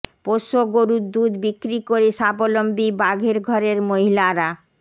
পোষ্য গরুর দুধ বিক্রি করে স্বাবলম্বী বাঘের ঘরের মহিলারা